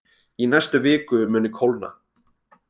Í næstu viku muni kólna